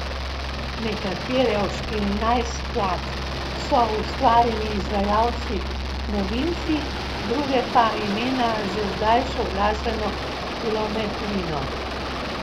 Nekatere od štirinajst skladb so ustvarili izvajalci novinci, druge pa imena že z daljšo glasbeno kilometrino.